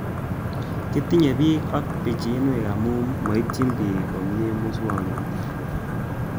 Kitinye pik alak pichinwek amu maitchini pich komie muswognatet